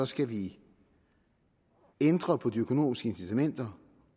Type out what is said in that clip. skal vi ændre på de økonomiske incitamenter